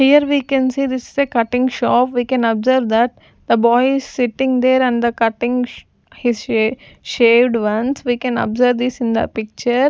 here we can see this is a cutting shop we can observe that the boy is sitting there and the cutting his shave shaved ones we can observe this in the picture.